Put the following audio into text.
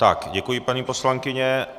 Tak, děkuji, paní poslankyně.